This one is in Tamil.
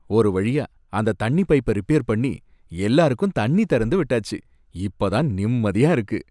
ஒரு வழியா அந்த தண்ணி பைப்ப ரிப்பேர் பண்ணி, எல்லாருக்கும் தண்ணி திறந்து விட்டாச்சு, இப்ப தான் நிம்மதியா இருக்கு